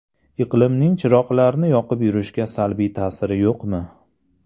Iqlimning chiroqlarni yoqib yurishga salbiy ta’siri yo‘qmi?